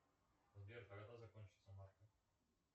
сбер когда закончится марка